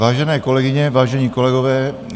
Vážené kolegyně, vážení kolegové.